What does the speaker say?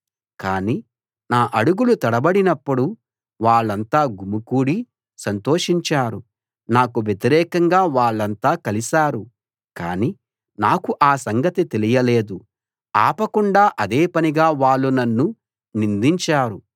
కాని నా అడుగులు తడబడినప్పుడు వాళ్ళంతా గుమికూడి సంతోషించారు నాకు వ్యతిరేకంగా వాళ్ళంతా కలిశారు కానీ నాకు ఆ సంగతి తెలియలేదు ఆపకుండా అదే పనిగా వాళ్ళు నన్ను నిందించారు